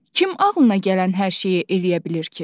Kim ağlına gələn hər şeyi eləyə bilir ki?